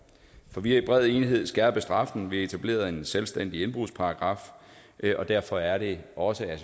for vi har i bred enighed skærpet straffen og vi har etableret en selvstændig indbrudsparagraf og derfor er det også at